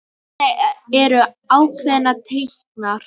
Hvernig eru ákvarðanir teknar?